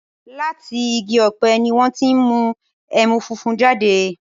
Látì igi ọ̀pẹ̀ ni wọn ti n mú ẹmu fúnfún jáde